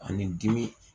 Ani dimi